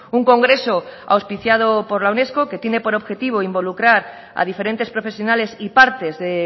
un congreso auspiciado por la unesco que tiene por objetivo involucrar a diferentes profesionales y partes de